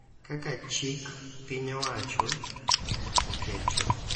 Kaka chik piny owacho oketo,